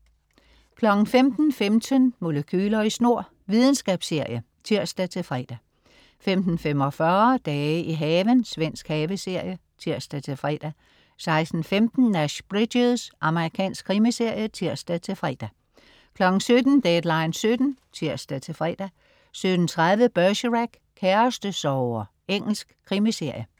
15.15 Molekyler i snor. Videnskabsserie (tirs-fre) 15.45 Dage i haven. Svensk haveserie (tirs-fre) 16.15 Nash Bridges. Amerikansk krimiserie (tirs-fre) 17.00 Deadline 17:00 (tirs-fre) 17.30 Bergerac: Kærestesorger. Engelsk krimiserie